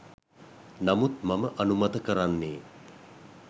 නමුත් මම අනුමත කරන්නේ